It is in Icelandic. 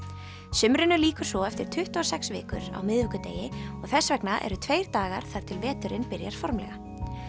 sumrinu lýkur svo eftir tuttugu og sex vikur á miðvikudegi og þess vegna eru tveir dagar þar til veturinn byrjar formlega